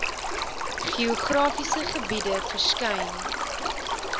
geografiese gebiede verskyn